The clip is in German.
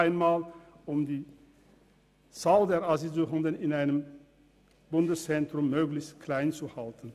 Dies um die Zahl der Asylsuchenden in einem Bundeszentrum möglichst klein zu halten.